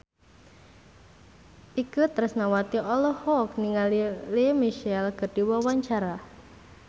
Itje Tresnawati olohok ningali Lea Michele keur diwawancara